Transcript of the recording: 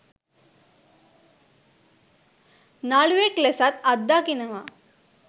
නළුවෙක් ලෙසත් අත්දකිනවා..